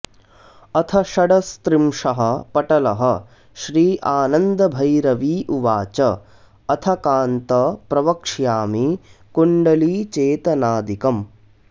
अथ षडस्त्रिंशः पटलः श्रीआनन्दभैरवी उवाच अथ कान्त प्रवक्ष्यामि कुण्डलीचेतनादिकम्